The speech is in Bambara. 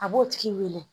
A b'o tigi wele